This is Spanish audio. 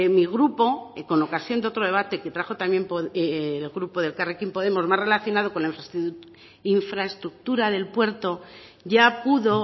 mi grupo con ocasión de otro debate que trajo también el grupo de elkarrekin podemos más relacionado con la infraestructura del puerto ya pudo